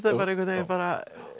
einhvern veginn bara